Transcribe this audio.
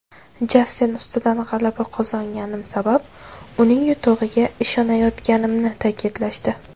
Jastin ustidan g‘alaba qozonganim sabab uning yutug‘iga ishonayotganimni ta’kidlashdi.